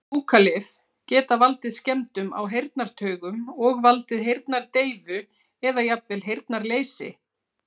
Fúkalyf geta valdið skemmdum á heyrnartaugum og valdið heyrnardeyfu eða jafnvel heyrnarleysi.